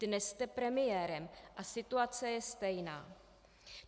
Dnes jste premiérem a situace je stejná.